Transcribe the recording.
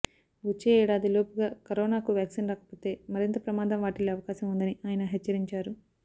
వచ్చే ఏడాదిలోపుగా కరోనాకు వ్యాక్సిన్ రాకపోతే మరింత ప్రమాదం వాటిల్లే అవకాశం ఉందని ఆయన హెచ్చరించారు